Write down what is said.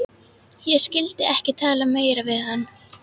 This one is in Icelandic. Ég skyldi ekki tala meira við hann.